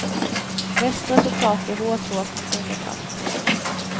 Bäst resultat ger hårtork med fingertratt.